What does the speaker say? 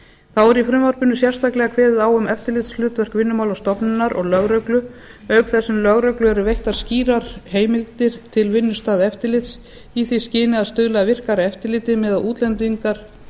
þá er í frumvarpinu sérstaklega kveðið á um eftirlitshlutverk vinnumálastofnunar og lögreglu auk þess sem lögreglu eru veittar skýrar heimildir til vinnustaðaeftirlits í því skyni að stuðla að virkara eftirliti með að útlendingar